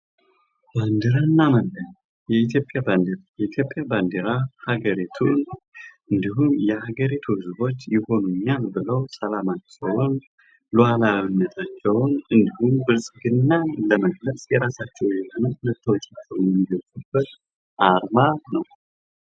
ባንዲራና መለያ የኢትዮጵያ ባንዲራ የኢትዮጵያ ባንዲራ የሀገሪቱን እንዲሁም የሀገሪቱ ህዝቦች የሆኑ እና ኢትዮጵያን ብለው ሰላማቸውን ሉዓላዊነታቸውን እንዲሁም ብልጽግናን የራሳቸው የሆነ መታወቂያቸውን የሚገልጹበት አርማ ነው።